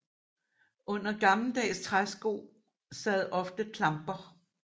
Under gammeldags træsko sad ofte klamper